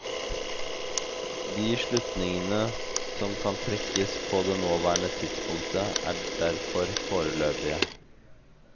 De slutningene som kan trekkes på det nåværende tidspunkt er derfor foreløpige.